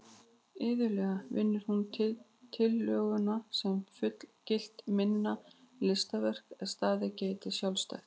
Iðulega vinnur hún tillöguna sem fullgilt minna listaverk er staðið geti sjálfstætt.